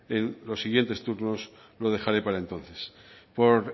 en los siguientes turnos lo dejaré para entonces por